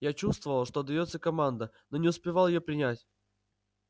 я чувствовал что даётся команда но не успевал её принять